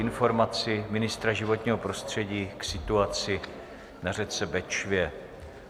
Informace ministra životního prostředí k situaci na řece Bečvě